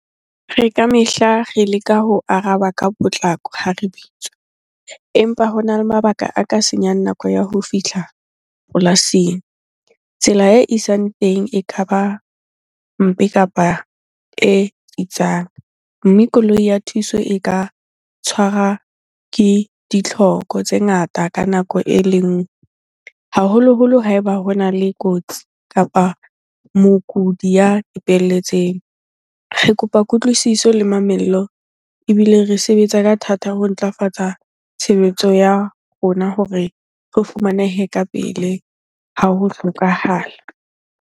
Ka mehla re leka ho araba ka potlako ha re bitswa. Empa hona le mabaka a ka senyang nako ya ho fihla polasing. Tsela e isang teng ekaba mpe kapa e tsitsang, mme koloi ya thuso e ka tshwara ke ditlhoko tse ngata ka nako e le nngwe. Haholoholo ha eba hona le kotsi kapa mokudi ya tepelletseng. Re kopa kutlwisiso le mamello ebile re sebetsa ka thata ho ntlafatsa tshebetso ya rona hore re fumanehe ka pele ha ho hlokahala.